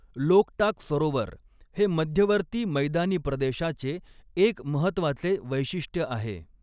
लोकटाक सरोवर हे मध्यवर्ती मैदानी प्रदेशाचे एक महत्वाचे वैशिष्ट्य आहे.